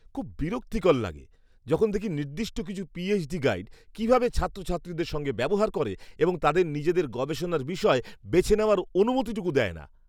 খুব বিরক্তিকর লাগে যখন দেখি নির্দিষ্ট কিছু পিএইচডি গাইড কীভাবে ছাত্রছাত্রীদের সঙ্গে ব্যবহার করে এবং তাদের নিজেদের গবেষণার বিষয় বেছে নেওয়ার অনুমতিটুকু দেয় না।